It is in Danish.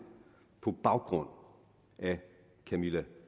på baggrund af camilla